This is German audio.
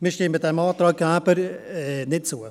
Wir stimmen dem Antrag Gerber nicht zu.